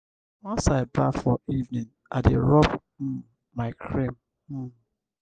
once i baff for evening i dey rob um my cream. um